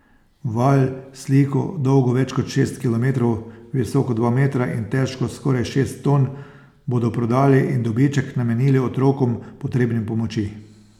Val, sliko, dolgo več kot šest kilometrov, visoko dva metra in težko skoraj šest ton, bodo prodali in dobiček namenili otrokom, potrebnim pomoči.